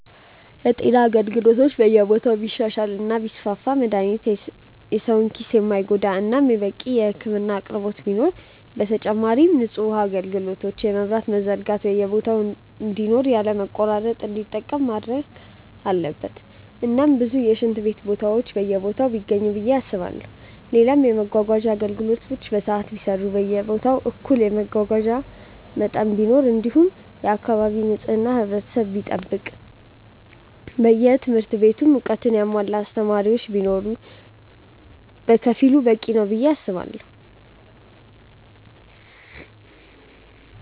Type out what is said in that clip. የጤና አገልግሎት በየቦታው ቢሻሻል እና ቢስፋፋ መድሃኒቶች የሰው ኪስ የማይጎዳ እናም በቂ የህክምና አቅርቦት ቢኖር፣ በተጨማሪም ንጹህ ውሃ አጋልግሎት የመብራትም መዘርጋት በየቦታ እንዲኖር ያለ መቆራረጥ እንዲጠቀም መደረግ አለበት እናም ብዙ የሽንት ቤት ቦታዎች በየቦታው ቢገኙ ብዬ አስባለው፣ ሌላም የመመጓጓዣ አገልግሎት በሰዓት የሚሰራ በየቦታው እኩል የሆነ የመጓጓዣ መጠን ቢኖር እንዲሁም የአካባቢ ንጽህና ህብረተሰቡ ቢጠብቅ በየትምህርት ቤቱም እውቀትን ያሙዋላ አስተማሪዎች ቢኖር በከፊሉ በቂ ነው ብዬ አስባለው።